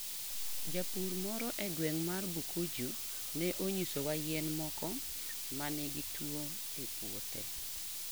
Japur moro e gweng' mar Bukujju ne onyisowa yien moko ma nigi tuwo e puothe.